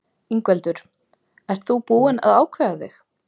Ingveldur: Ert þú búinn að ákveða þig?